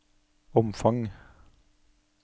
omfang